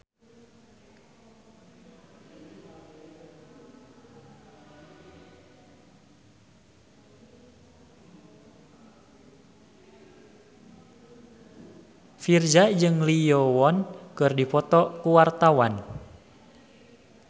Virzha jeung Lee Yo Won keur dipoto ku wartawan